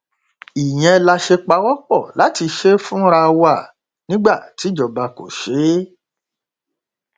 ìyẹn la ṣe pawọpọ láti ṣe é fúnra wa nígbà tí ìjọba kò ṣe é